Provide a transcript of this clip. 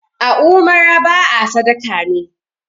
a umarar ba a sadaka ne!